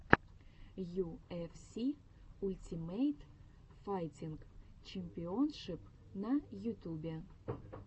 ю эф си ультимейт файтинг чемпионшип на ютубе